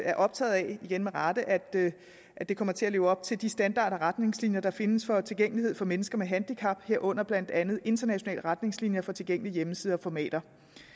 er optaget af igen med rette at det at det kommer til at leve op til de standarder og retningslinjer der findes for tilgængelighed for mennesker med handicap herunder blandt andet internationale retningslinjer for tilgængelige hjemmesider og formater